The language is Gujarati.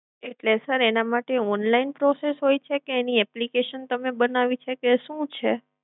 એટલે sir એના માટે online process હોય છે કે એની application તમે બનાવી છે કે શું છે?